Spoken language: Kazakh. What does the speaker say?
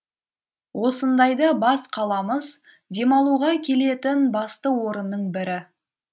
осындайда бас қаламыз демалуға келетін басты орынның бірі